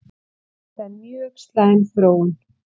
Þetta er mjög slæm þróun